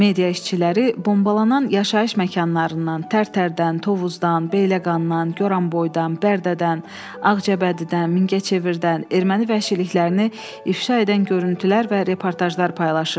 Media işçiləri bombalanan yaşayış məkanlarından, Tərtərdən, Tovuzdan, Beyləqandan, Goranboydan, Bərdədən, Ağcabədidən, Mingəçevirdən erməni vəhşiliklərini ifşa edən görüntülər və reportajlar paylaşırdılar.